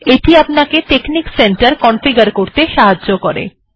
এটি আপনাকে technic center configure করতে সাহায্য করে